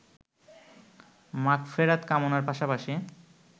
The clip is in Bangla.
মাগফেরাত কামনার পাশাপাশি